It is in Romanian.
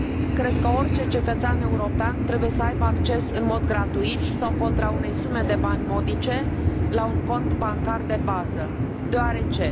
Cred că orice cetățean european trebuie să aibă acces, în mod gratuit sau contra unei sume de bani modice, la un cont bancar de bază, deoarece